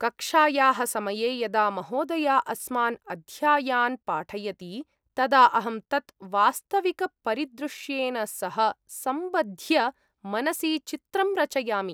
कक्षायाः समये यदा महोदया अस्मान् अध्यायान् पाठयति तदा अहं तत् वास्तविकपरिदृश्येन सह सम्बध्य मनसि चित्रं रचयामि।